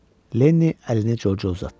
Lenni əlini Corca uzatdı.